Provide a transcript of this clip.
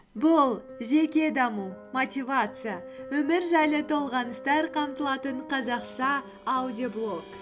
бұл жеке даму мотивация өмір жайлы толғаныстар қамтылатын қазақша аудиоблог